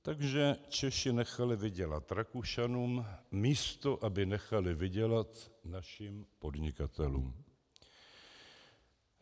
Takže Češi nechali vydělat Rakušanům, místo aby nechali vydělat našim podnikatelům.